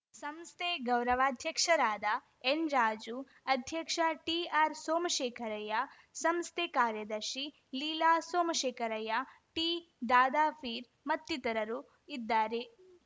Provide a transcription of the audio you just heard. ಸಂಸ್ಥೆ ಗೌರವಾಧ್ಯಕ್ಷರಾದ ಎನ್‌ರಾಜು ಅಧ್ಯಕ್ಷ ಟಿಆರ್‌ ಸೋಮಶೇಖರಯ್ಯ ಸಂಸ್ಥೆ ಕಾರ್ಯದರ್ಶಿ ಲೀಲಾ ಸೋಮಶೇಖರಯ್ಯ ಟಿದಾದಾಪೀರ್‌ ಮತ್ತಿತರರು ಇದ್ದಾರೆ